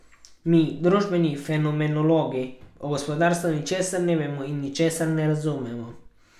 Mi, družbeni fenomenologi, o gospodarstvu ničesar ne vemo in ničesar ne razumemo.